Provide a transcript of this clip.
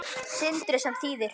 Sindri: Sem þýðir?